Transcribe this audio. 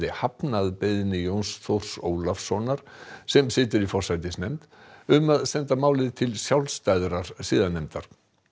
hafnað beiðni Jóns Þórs Ólafssonar sem situr í forsætisnefnd um að senda málið til sjálfstæðrar siðanefndar